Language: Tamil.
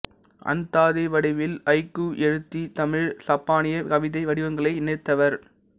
அந்தாதி வடிவில் ஐக்கூ எழுதி தமிழ் சப்பானிய கவிதை வடிவங்களை இணைத்தவர்